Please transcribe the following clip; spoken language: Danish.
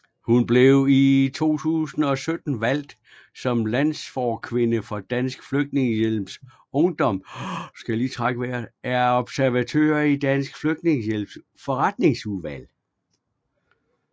Hun blev i 2017 valgt som landsforkvinde for Dansk Flygtningehjælps Ungdom og er observatør i Dansk Flygtningehjælps Forretningsudvalg